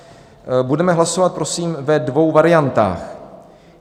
Budeme hlasovat prosím ve dvou variantách.